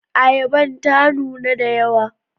Ayaban ta nuna da yawa.